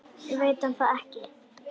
Veit hann það ekki?